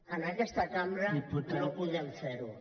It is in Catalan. en aquesta cambra no podem fer ho